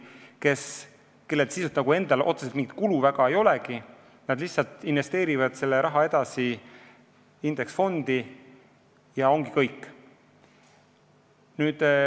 Sisuliselt fondil endal otseselt mingit kulu väga ei olegi, see raha lihtsalt investeeritakse edasi indeksfondi ja ongi kõik.